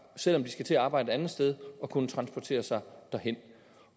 selv om de skal til at arbejde et andet sted at kunne transportere sig derhen